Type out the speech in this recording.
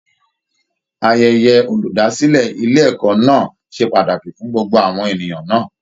Ayẹyẹ olúdásílẹ̀ ilé ẹ̀kọ́ náà ṣe pàtàkì fún gbogbo àwọn ènìyàn náà